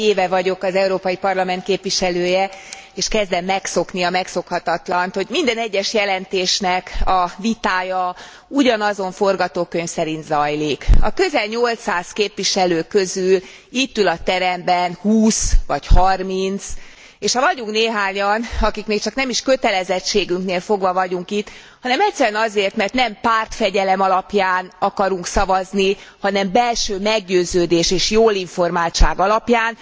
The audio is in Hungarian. Lassan egy éve vagyok az Európai Parlament képviselője, és kezdem megszokni a megszokhatatlant, hogy minden egyes jelentésnek a vitája ugyanazon forgatókönyv szerint zajlik. A közel 800 képviselő közül itt ül a teremben 20 vagy 30 és vagyunk néhányan, akik még csak nem is kötelezettségünknél fogva vagyunk itt, hanem egyszerűen azért, mert nem pártfegyelem alapján akarunk szavazni, hanem belső meggyőződés és jólinformáltság alapján,